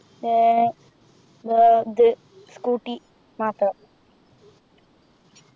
ഏർ ഏർ ഇത് Scooty മാത്രം